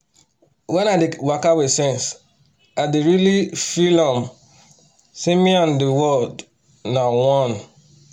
wen i dey waka with sense i dey really um feel am um say me and the the world na one um